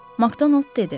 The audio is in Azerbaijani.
Makdonold dedi.